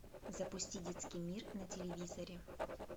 запусти детский мир на телевизоре